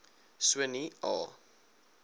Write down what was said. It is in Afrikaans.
so nie a